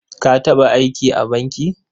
Ka taɓa aiki a banki?